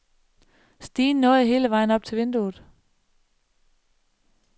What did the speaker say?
Stigen nåede hele vejen op til vinduet.